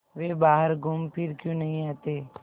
वे बाहर घूमफिर क्यों नहीं आते